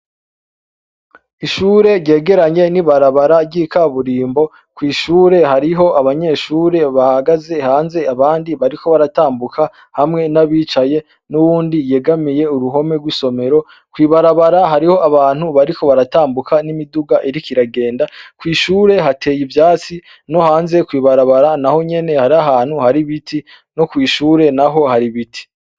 Ishure ryegeranye n'ibarabara ry'ikaburimbo, kw'ishure hariho abanyeshure bahagaze hanze abandi bariko baratambuka hamwe n'abicaye n'uwundi yegamiye uruhome gw'isomero, kwibarabara hariho abantu bariko baratambuka n'imiduga iriko iragenda kw'ishure hateye ivyatsi nohanze kwibarabara naho nyene hariho ahantu hari ibiti no kw'ishure naho hari ibiti.